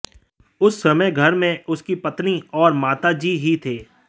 उस समय घर में उनकी पत्नी और माता जी ही थे